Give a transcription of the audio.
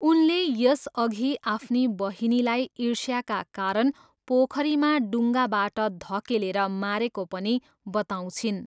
उनले यसअघि आफ्नी बहिनीलाई ईर्ष्याका कारण पोखरीमा डुङ्गाबाट धकेलेर मारेको पनि बताउँछिन्।